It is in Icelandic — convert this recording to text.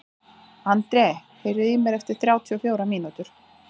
André, heyrðu í mér eftir þrjátíu og fjórar mínútur.